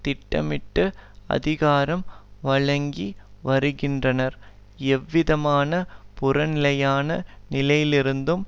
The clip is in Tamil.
திட்டமிட்டு அதிகாரம் வழங்கி வருகின்றனர் எவ்விதமான புறநிலையான நிலையிலிருந்தும்